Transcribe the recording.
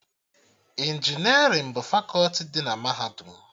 Injinerịn bụ fakọti dị na Mahadum